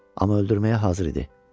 Amma öldürməyə hazır idi.